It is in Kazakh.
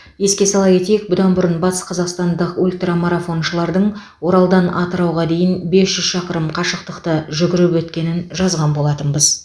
еске сала кетейік бұдан бұрын батысқазақстандық ультрамарафоншылардың оралдан атырауға дейін бес жүз шақырым қашықтықты жүгіріп өткенін жазған болатынбыз